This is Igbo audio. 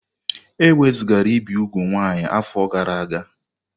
E wezugara ibi úgwù nwaanyị afọ gara aga.